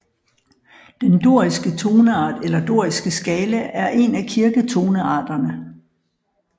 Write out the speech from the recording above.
Den doriske toneart eller doriske skala er en af kirketonearterne